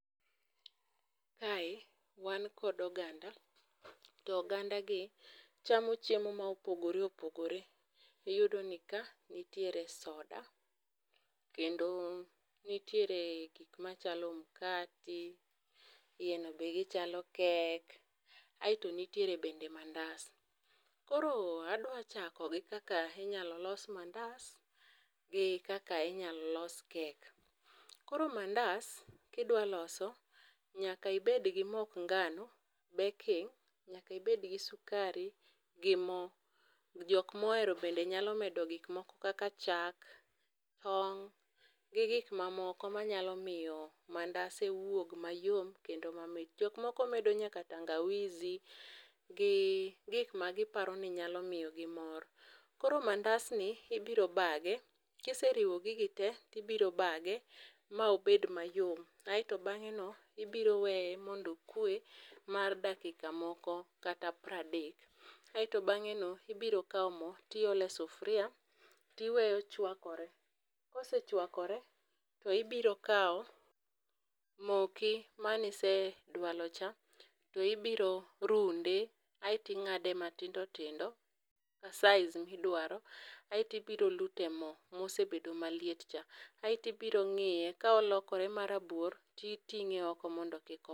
Kae wan kod oganda. To oganda gi chamo chiemo ma opogore opogore. Iyudo ni ka nitiere soda. Kendo nitiere gik machalo mkati. Yieno be gichalo kek. Aeto nitiere bende mandas. Koro adwa chako gi kaka inyalo los mandas gi kaka inyalo los kek. Koro mandas kida loso nyaka ibed gi mok ngano, baking. Nyaka ibed gi sukari gi mo. Jok mohero bende nyalo medo gik moko kaka chak, tong gi gik mamoko manyalo miyo mandase wuog mayom kendo mamit. Jok moko medo nyaka tangawizi gi gik magiparo ni nyalo miyo gi mor. Kor mandas ni ibiro bage. Kise riwo gigi te tibiro bage ma obed mayom aeto bang'e no ibiro weye mondo okwe mar dakika moko kata pradek. Aeto bang'e no ibiro kaw mo tiole sufria tiweyo chwakore. Kosechwakore to ibiro kaw moki manise dwalo cha to ibiro runde aeto ing'ade matindo tindo size midwaro aieto ibiro lute mo mosebedo maliet cha. Aeto ibiro ng'iye ka olokore ma rabuor ti ting'e oko mondo kik.